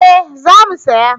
Eh za mu saya